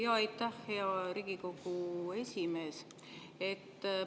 Jaa, aitäh, hea Riigikogu esimees!